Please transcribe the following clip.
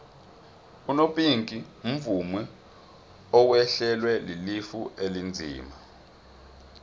unopinki umvumi owehlelwa lilifa elinzima